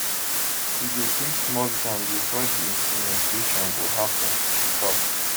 e go take small time bifor di implementation go happen she tok